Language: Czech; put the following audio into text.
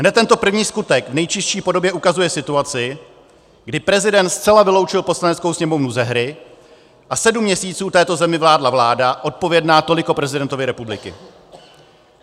Hned tento první skutek v nejčistší podobě ukazuje situaci, kdy prezident zcela vyloučil Poslaneckou sněmovnu ze hry a sedm měsíců této zemi vládla vláda odpovědná toliko prezidentovi republiky.